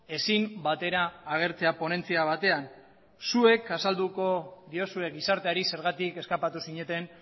ezin batera agertzea ponentzia batean zuek azalduko diozue gizarteari zergatik eskapatu zineten